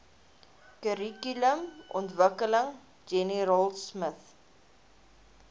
kurrikulumontwikkeling jenny raultsmith